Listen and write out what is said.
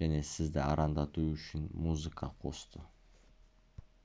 және сізді арандату үшін музыка қосты